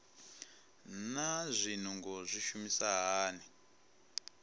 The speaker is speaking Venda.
naa zwinungo zwi shuma hani